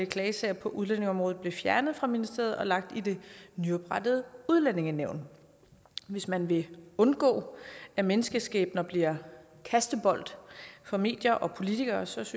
klagesager på udlændingeområdet blev fjernet fra ministeriet og lagt i det nyoprettede udlændingenævn hvis man vil undgå at menneskeskæbner bliver kastebold for medier og politikere synes